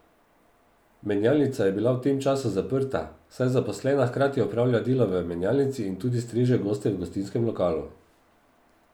Menjalnica je bila v tem času zaprta, saj zaposlena hkrati opravlja delo v menjalnici in tudi streže goste v gostinskem lokalu.